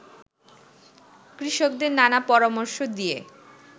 কৃষকদের নানা পরামর্শ দিয়ে